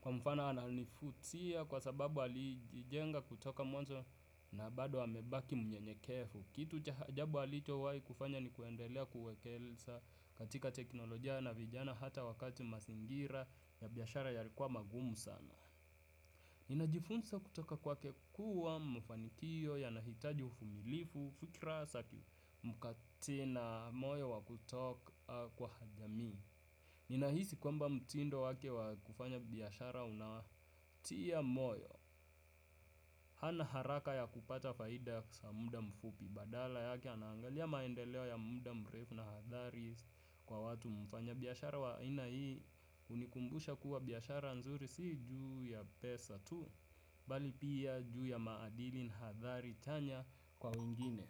kwa mfano ananivutia kwa sababu alijijenga kutoka mwanzo na bado amebaki mnyenyekevu. Kitu cha ajabu alichowahi kufanya ni kuendelea kuwekeza katika teknolojia na vijana hata wakati mazingira ya biashara yalikuwa magumu sana. Ninajifunza kutoka kwake kuwa mafanikio yanahitaji uvumilivu fikra za kimkati na moyo wa kutoa kwa jami. Ninahisi kwamba mtindo wake wa kufanya biashara unawatia moyo. Hana haraka ya kupata faida kwa muda mfupi badala yake anaangalia maendeleo ya muda mrefu na hadhari kwa watu mfanya biashara wa aina hii. Hunikumbusha kuwa biashara nzuri si ju ya pesa tu bali pia juu ya maadili na hadhari chanya kwa wengine.